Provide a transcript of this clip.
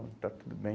Então está tudo bem.